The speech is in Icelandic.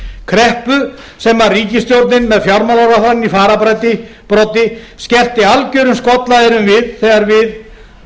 kreppu sem ríkisstjórnin með fjármálaráðherrann í fararbroddi skellti algjörum skollaeyrum við